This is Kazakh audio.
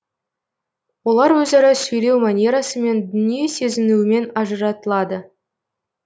олар өзара сөйлеу манерасымен дүние сезінуімен ажыратылады